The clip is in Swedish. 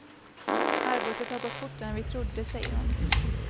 Arbetet har gått fortare än vi trodde, säger hon.